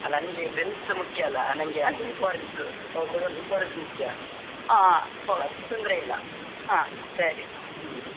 ಅಲ್ಲಾ ನಂಗೆ friends ಸ ಮುಖ್ಯಲ್ಲಾ ನಂಗೆ ಅದು importance ಅವ್ರು ಕೊಡುವಂತ importance ಮುಖ್ಯ ತೊಂದ್ರೆ ಇಲ್ಲಾ ಹ್ಮ್‌.